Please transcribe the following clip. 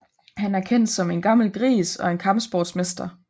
Han er kendt som en gammel gris og en kampsportsmester